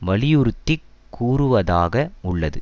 வலியுறுத்தி கூறுவதாக உள்ளது